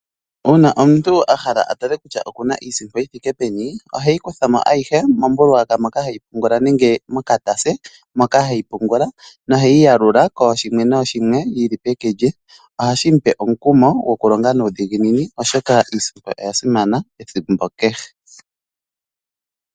Una omuntu ahala oku tala kutya okuna iisimpo yi thike peni oheyi kuthamo ayihe mombuluwata nenge mokatase moka heyi pungula noheyi yalula koshimwe noshimwe yili peke lye. Ohashi mupe omukumo gokulonga nuudhiginini oshoka iisimpo oya simana ethimbo kehe.